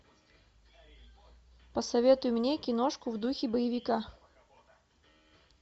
посоветуй мне киношку в духе боевика